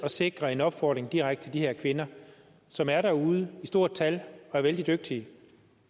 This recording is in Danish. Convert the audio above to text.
sikre en opfordring direkte til de her kvinder som er derude i stort tal og er vældig dygtige